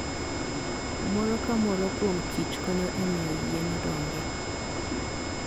Moro ka moro kuom kich konyo e miyo yien odongi.